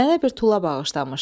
Mənə bir tulla bağışlamışdı.